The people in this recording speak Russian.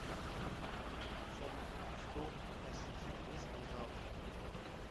салют что хасис ест на завтрак